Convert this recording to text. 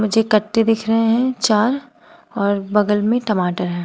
मुझे कट्टे दिख रहे हैं चार और बगल में टमाटर है।